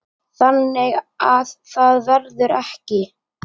Þannig að það verður ekki.